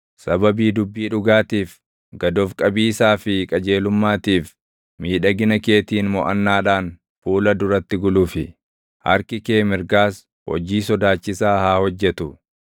Sababii dubbii dhugaatiif, gad of qabiisaa fi qajeelummaatiif, miidhagina keetiin moʼannaadhaan fuula duratti gulufi; harki kee mirgaas hojii sodaachisaa haa hojjetu.